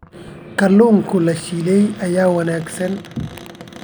Kalluunka la shiilay ayaa wanaagsan.